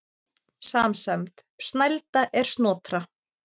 Samsemd: Snælda er Snotra